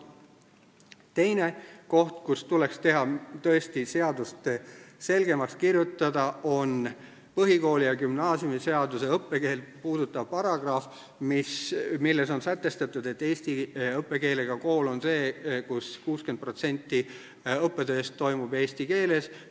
Teine koht, kus tuleks tõesti seadust selgemaks kirjutada, on põhikooli- ja gümnaasiumiseaduse õppekeelt puudutav paragrahv, milles on sätestatud, et eesti õppekeelega kool on see, kus 60% õppetööst toimub eesti keeles.